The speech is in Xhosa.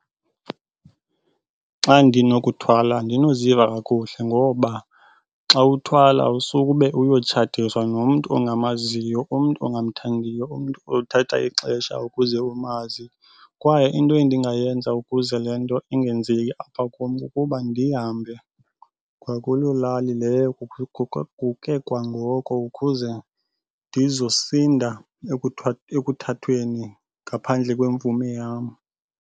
Xa ndinokuthwala andinoziva kakuhle ngoba xa uthwala usube uyotshatiswa nomntu ongamaziyo, umntu ongamthandiyo umntu othatha ixesha ukuze umazi. Kwaye into endingayenza ukuze le nto ingenzeki apha kum, kukuba ndihambe kwakulo lali leyo kwangoko ukuze ndizosinda ekuthathweni ngaphandle kwemvume yam.